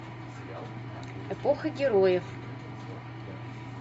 эпоха героев